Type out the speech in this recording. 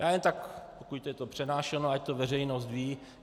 Já jen tak, pokud je to pronášeno, ať to veřejnost ví.